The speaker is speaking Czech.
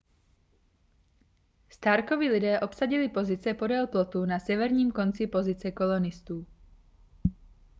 starkovi lidé obsadili pozice podél plotu na severním konci pozice kolonistů